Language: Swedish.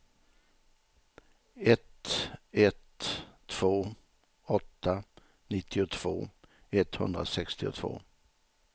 ett ett två åtta nittiotvå etthundrasextiotvå